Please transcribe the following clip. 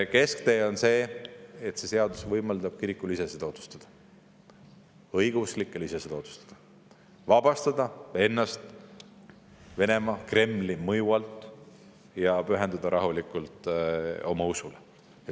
Kesktee on see, et see seadus võimaldab kirikul ise seda otsustada, õigeusklikel ise seda otsustada, vabastada ennast Venemaa, Kremli mõju alt ja pühenduda rahulikult oma usule.